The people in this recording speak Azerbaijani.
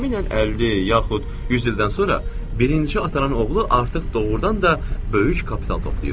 Təxminən 50 yaxud 100 ildən sonra birinci atanın oğlu artıq doğurdan da böyük kapital toplayır.